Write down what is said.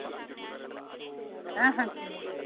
হ্যাঁ হ্যাঁ চিনি